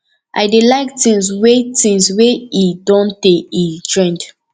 i dey like things wey things wey e don tey e trend